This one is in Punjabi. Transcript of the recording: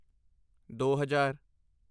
ਦੋ ਹਜ਼ਾਰ